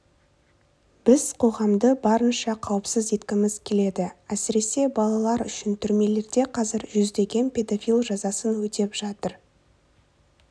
біз қоғамды барынша қауіпсіз еткіміз келеді әсіресе балалар үшін түрмелерде қазір жүздеген педофил жазасын өтеп жатыр